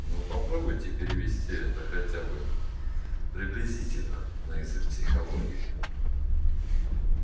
но попробуйте перевести это хотя бы приблизительно на язык психологии